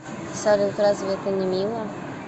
салют разве это не мило